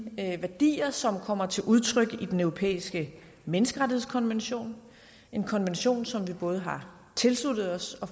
værdier som kommer til udtryk i den europæiske menneskerettighedskonvention en konvention som vi både har tilsluttet os og